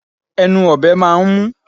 Ẹnu ọ̀bẹ máà ń mú